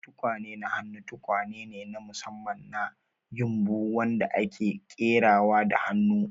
Tukwane na hannu tukwane ne na musamman na ƴumbu wadanda ake ƙerawa da hannu,